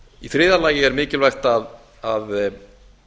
í þriðja lagi er mikilvægt að